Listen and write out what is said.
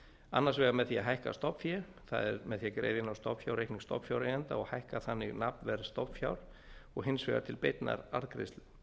annars vegar með því að hækka stofnfé það er með því að greiða inn á stofnfjárreikning stofnfjáreigenda og hækka þannig nafnverð stofnfjár og hins vegar til beinnar arðgreiðslu